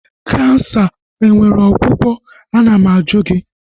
Kansa enwere ọgwụgwọ? Ana m ajụ gị?